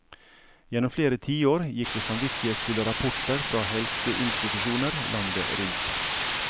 Gjennom flere tiår gikk det samvittighetsfulle rapporter fra helseinstitusjoner landet rundt.